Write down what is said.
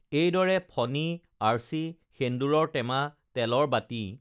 এইদৰে ফণী আৰ্চি সেন্দূৰৰ টেমা তেলৰ বাটি